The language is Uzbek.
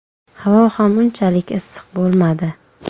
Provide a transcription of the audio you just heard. Havo ham unchalik issiq bo‘lmadi.